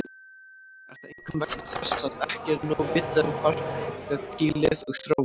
Er það einkum vegna þess að ekki er nóg vitað um barkakýlið og þróun þess.